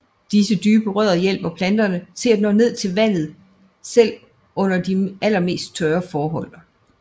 Disse dybe rødder hjælper planterne til at nå ned til vandet selv umder de allermest tørre forhold